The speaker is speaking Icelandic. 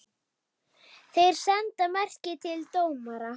Þeir senda merki til dómara.